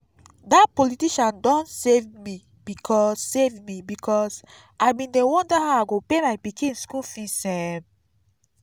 dat politician don save me because save me because i bin dey wonder how i go pay my pikin school fees um